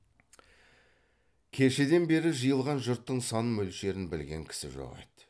кешеден бері жиылған жұрттың сан мөлшерін білген кісі жоқ еді